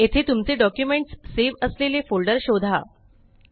येथे तुमचे documents save असलेले फोल्डर शोधा